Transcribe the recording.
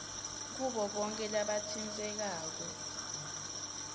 kubo bonkhe labatsintsekako